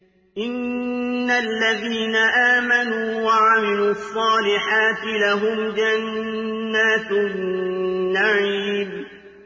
إِنَّ الَّذِينَ آمَنُوا وَعَمِلُوا الصَّالِحَاتِ لَهُمْ جَنَّاتُ النَّعِيمِ